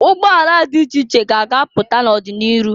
Ụgbọala dị iche ka a ga-apụta n'ọdị n'iru.